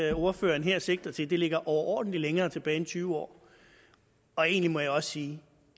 det ordføreren her sigter til ligger overordentlig længere tilbage end tyve år egentlig må jeg også sige